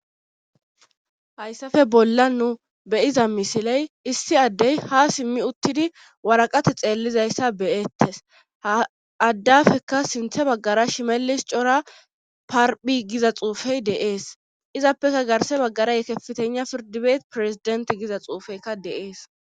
hayssafe bolla nu beyiza misiley issi addey ha simmi uttidi waraqati xeellizayssa beyettes aaddafekka sinthe baggara shimelis cora parphi giza xuufey deees izappeka garse baggara yekeftena pirdibeet pirezident giza xuufeykka deees